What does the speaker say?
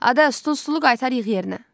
Adə, stulu qaytar yığ yerinə.